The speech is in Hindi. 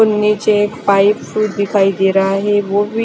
नीचे पाइप अः दिखाई दे रहा है वो भी--